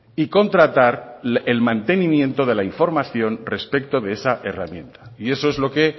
y contratar el mantenimiento de la información respecto de esa herramienta y eso es lo que